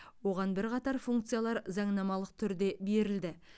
оған бірқатар функциялар заңнамалық түрде берілді